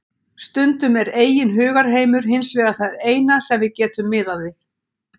Stundum er eigin hugarheimur hins vegar það eina sem við getum miðað við.